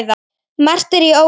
Margt er í ólagi þarna.